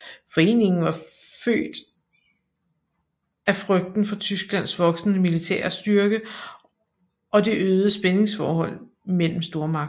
Foreningen var født af frygten for Tysklands voksende militære styrke og det øgede spændingsforhold imellem stormagterne